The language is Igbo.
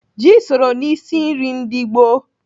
Ji soro n'isi nri ndị gboo.